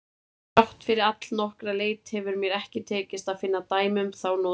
Þrátt fyrir allnokkra leit hefur mér ekki tekist að finna dæmi um þá notkun.